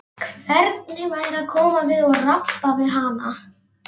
Hvernig væri að koma við og rabba við hana?